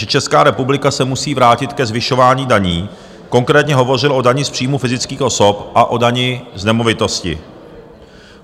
, že Česká republika se musí vrátit ke zvyšování daní, konkrétně hovořil o dani z příjmu fyzických osob a o dani z nemovitosti.